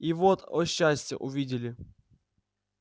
и вот о счастье увидели